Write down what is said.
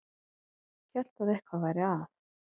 Hélt að eitthvað væri að.